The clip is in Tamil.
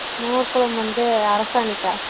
மோர் கொழம்பு வந்து அரசாணிக்கா